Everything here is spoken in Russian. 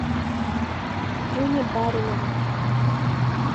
дрюне баринову